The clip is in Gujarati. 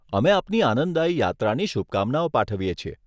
અમે આપણી આનંદદાયી યાત્રાની શુભકામનાઓ પાઠવીએ છીએ.